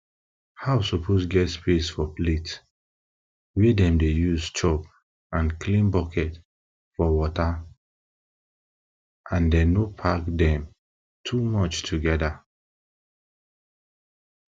house suppose get space for plate wey dem dey use chop and clean bucket for waterand dem no pack dem too much together